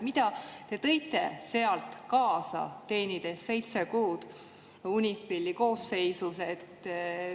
Mida te tõite sealt kaasa, olles teeninud seitse kuud UNIFIL-i koosseisus?